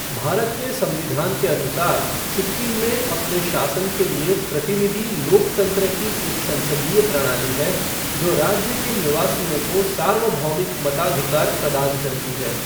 भारत के संविधान के अनुसार, सिक्किम में अपने शासन के लिए प्रतिनिधि लोकतंत्र की एक संसदीय प्रणाली है जो राज्य के निवासियों को सार्वभौमिक मताधिकार प्रदान करती है।